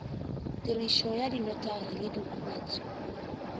tirišo ya dinotagi le diokobatši